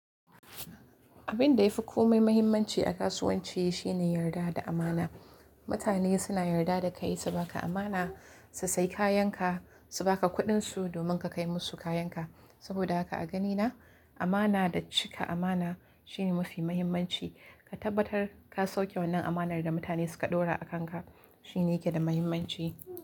Abin da ya fi komai mahimmanci a kasuwanci shine yarda da amana. Mutane suna yarda da kai, su ba ka amana su sai kayan ka, su ba ka kuɗinsu domin ka kai musu kayan ka. Saboda haka a ganina amana da cika amana shine mafi muhimmanci. Ka tabbatar ka sauke wannan amanar da mutane suka ɗora a kanka shine yake da mahimmanci.